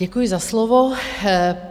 Děkuji za slovo.